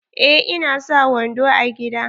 Eh ina sa wando a gida.